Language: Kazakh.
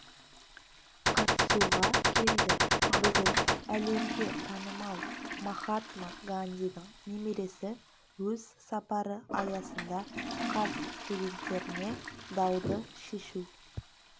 қатысуға келді бүгін әлемге танымал махатма гандидің немересі өз сапары аясында қаз студенттеріне дауды шешу